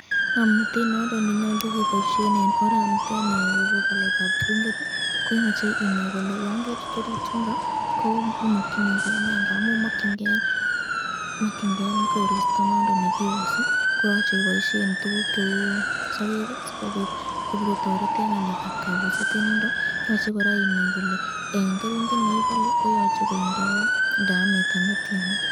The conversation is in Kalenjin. Ngomnatet nondon nenyalu keboisyen eng oraniteni nebo baletab keringet ii ,koyache inai Ile yan kechut orit yundon ii makyinike nee ngamun eng orit yuni ko makyin ke koristo nondon nekibuse, koyache iboisyen tukuk cheu sokek ii sikobit kobako toret eng ngalekab kabuset yoche inai koraa kole imache keringet netyan.